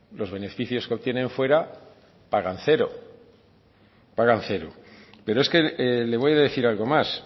los beneficios que obtienen fuera pagan cero pagan cero pero es que le voy a decir algo más